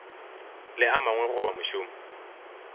le a mangwe goba mošomo